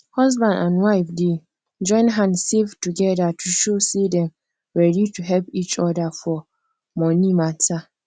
husband and wife dey join hand save together to show say dem ready to help each other for money matter